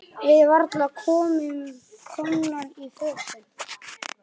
Við varla komnar í fötin.